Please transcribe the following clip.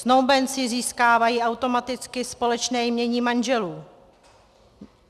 Snoubenci získávají automaticky společné jmění manželů.